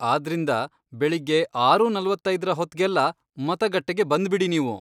ಆದ್ರಿಂದ ಬೆಳಿಗ್ಗೆ ಆರು ನಲವತ್ತೈದ್ರ ಹೊತ್ಗೆಲ್ಲ ಮತಗಟ್ಟೆಗೆ ಬಂದ್ಬಿಡಿ ನೀವು.